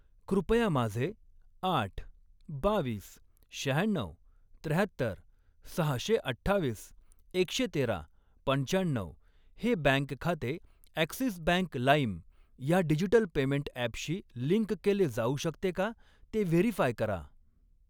कृपया माझे आठ, बावीस, शहाण्णऊ, त्र्याहत्तर, सहाशे अठ्ठावीस, एकशे तेरा, पंचाण्णऊ हे बँक खाते ॲक्सिस बँक लाईम ह्या डिजिटल पेमेंट ॲपशी लिंक केले जाऊ शकते का ते व्हेरीफाय करा?